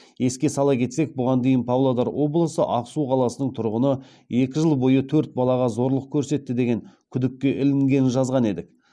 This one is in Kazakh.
еске сала кетсек бұған дейін павлодар облысы ақсу қаласының тұрғыны екі жыл бойы төрт балаға зорлық көрсетті деген күдікке ілінгенін жазған едік